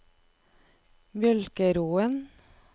Mjølkeråen